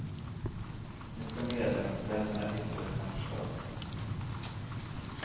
Nu ska medlemsländerna yttra sig om förslaget.